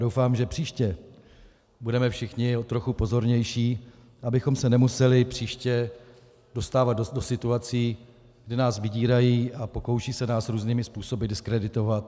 Doufám, že příště budeme všichni trochu pozornější, abychom se nemuseli příště dostávat do situací, kdy nás vydírají a pokoušejí se nás různými způsoby diskreditovat.